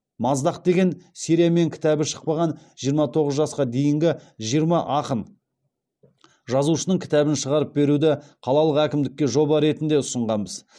маздақ деген сериямен кітабы шықпаған жиырма тоғыз жасқа дейінгі жиырма ақын жазушының кітабын шығарып беруді қалалық әкімдікке жоба ретінде ұсынғанбыз